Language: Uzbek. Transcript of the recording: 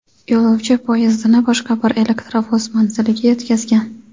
Yo‘lovchi poyezdini boshqa bir elektrovoz manziliga yetkazgan.